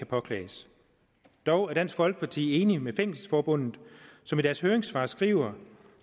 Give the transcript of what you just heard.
påklages dog er dansk folkeparti enig med fængselsforbundet som i deres høringssvar skriver